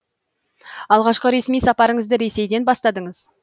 алғашқы ресми сапарыңызды ресейден бастадыңыз